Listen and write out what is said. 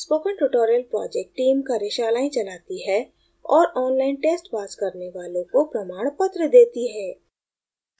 spoken tutorial project team कार्यशालाएं चलाती है और online test pass करने वालों को प्रमाणपत्र देती है